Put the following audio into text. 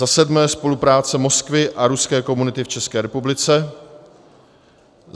za sedmé: spolupráce Moskvy a ruské komunity v České republice;